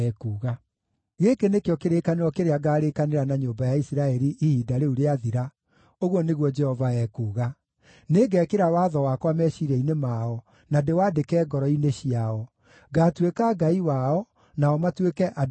“Gĩkĩ nĩkĩo kĩrĩkanĩro kĩrĩa ngaarĩkanĩra na nyũmba ya Isiraeli ihinda rĩu rĩathira,” ũguo nĩguo Jehova ekuuga. “Nĩngekĩra watho wakwa meciiria-inĩ mao, na ndĩwandĩke ngoro-inĩ ciao. Ngaatuĩka Ngai wao, nao matuĩke andũ akwa.